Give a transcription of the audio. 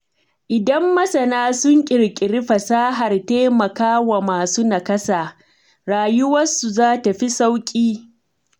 Idan masana sun ƙirƙiri fasahar taimakawa masu nakasa, rayuwarsu za ta fi sauƙi.